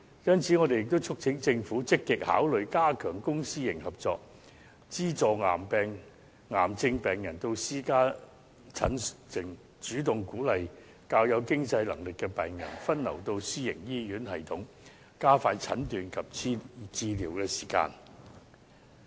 因此，我們也促請政府積極考慮加強公私營合作，資助癌症病人到私家診所診症，主動鼓勵較有經濟能力的病人分流到私營醫院系統，加快診斷及治療時間。